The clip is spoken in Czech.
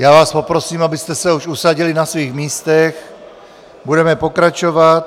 Já vás poprosím, abyste se už usadili na svých místech, budeme pokračovat.